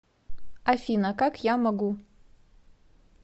афина как я могу